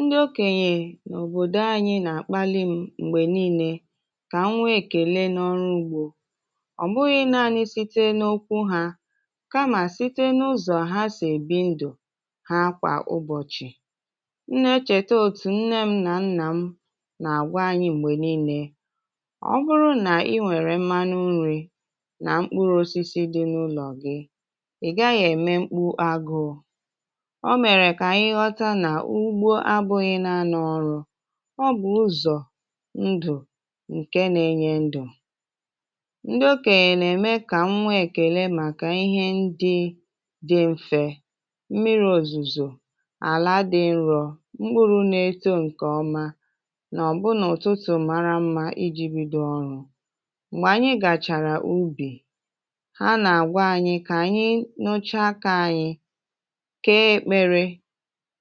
Ndị okènyè n’òbòdò anyị nà-àkpalị m mgbè niile kà m nwee èkèle n’ọrụ ugbọ, ọ bụghị naanị site n’okwu ha kamà site n’ụzọ ha sị ebi ndụ ha kwa ụbọchì. Nne echèta otù nne m nà nnà m nà àgwa anyị mgbè niile, ọ bụrụ nà i nwèrè mmanụ nri nà mkpụrụ osisi dị n’ụlọ gị, ị gaghị ème mkpụ agụụ. O mere ga-anyị ghota nà ugbo abụghị naanị ọrụ, ọ bụ ụzọ ndụ ǹke na-enye ndụ. Ndị okènyè na-eme kà m nwee èkèle maka ihe ndị dị mfe, mmiri òzùzọ, àla dị nrọ, mkpụrụ na eto ǹkè ọma nà ọ bụ nà ụtụtụ mara mma iji bido ọrụ. Mgbè ànyị gàchàrà ubì ha nà-àgwa ànyị kà ànyị n’ọche aka anyị, kee ekpele,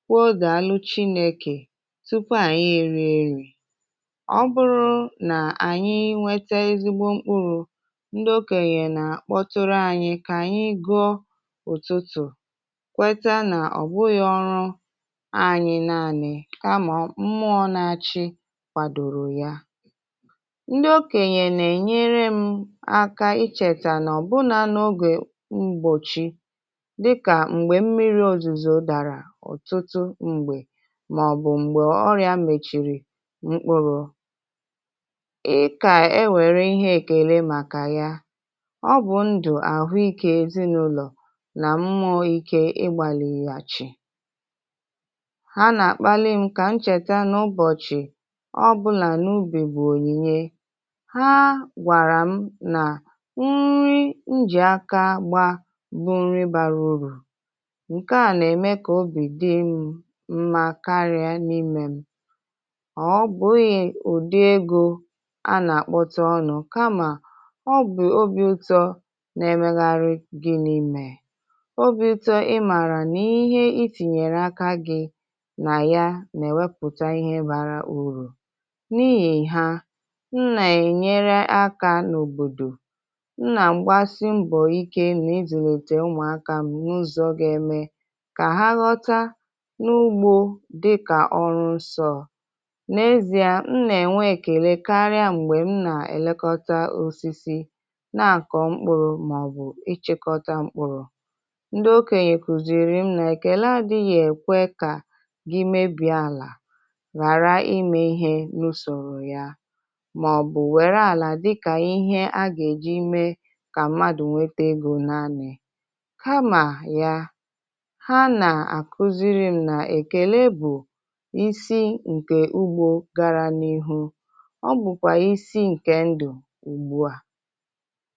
kwụọ dalụ chineke tupu ànyị èriè nri. Ọ bụrụ nà ànyị nwèta ezigbo mkpụrụ ndị okènyè nà-àkpọtàrà ànyị kà ànyị gụọ ụtụtụ kweta nà ọ bụghị ọrụ anyị naanị ka mmụọ na-achị kwàdọrọ ya. Ndị okènyè nà-ènyere m aka ichètà nà ọ bụ nà n’ogè ụbọchì dika mgbe mmiri ozuzo dara ọtụtụ mgbe mà ọ bụ mgbè ọrịa mèchịrì mkpụrụ. I kà e nwèrè ihe èkèle maka ya, ọ bụ ndụ ahụ ikè ezinụlọ nà mmụọ ike ịgbàlịghà chì, ha nà-àkpalị m kà m chèta n’ụbọchì ọ bụla n’ubì bụ ònyìnye. Ha gwàrà m nà nri njì aka gba bụ nri bara urù nke a nà-eme kà obì dì m mma kari n’ime m, na obughị udị ego a na-akpọtà ọnụ kama ọ bụ ọbì ụtọ na-emegharị gịnị mee, ọbì ụtọ imara n’ihe itinyere aka gị na ya na wepụta ihe bara ụrụ, n’ihi ha, m na-ènyere aka n’òbòdò, m na-agbasi mgbo ike n’izulite ụmụaka m n’uzo ga-eme ka ha ghọta n’ugbo dịkà ọrụ nsọ. N’ezi ezi a m nà ènwe èkèle karịa mgbè m nà èlekọta osisi na àkọ mkpụrụ mà ọ bụ ịchịkọta mkpụrụ. Ndị okènyè kụziri m nà èkèle adịghị èkwe kà gị mebie àlà ghàrà ime ihe n’usòrò ya mà ọ bụ wère àlà dịkà ihe a ga èji mee kà mmadụ nwète egọ naanị kamà ya, ha na-akụziri m na-èkèlè bụ isi ǹkè ugbọ gara n’ihu, ọ bụkwa isi ǹkè ndụ ugbua.